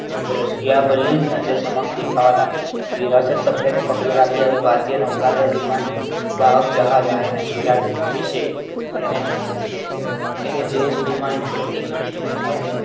દ્રશ્યાવલી નજર સમક્ષ દેખાવા લાગી વિરાસત શબ્દને પકડી રાખે અને ભારતીય નૌકાદળ વાહક જહાજ આઈએનએસ વિરાટ વિશે એને તેને દેશ શ્રીમાન નું પ્રતીક માનીને વિચારો